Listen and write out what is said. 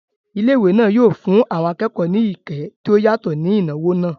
Ilé ìwé náà yóò fún àwọn akẹ́kọ̀ọ́ ní ìkẹ́ tí ó yàtọ̀ ní ìnáwó náà